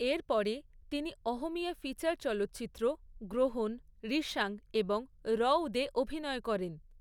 এর পরে, তিনি অহমীয়া ফিচার চলচ্চিত্র 'গ্রহণ', 'রিশাং' এবং 'রউদ' এ অভিনয় করেন।